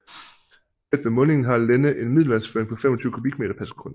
Tæt ved mundingen har Lenne en middelvandsføring på 25 kubikmeter pr sekund